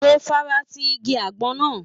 Mo fara ti igi àgbọn náà.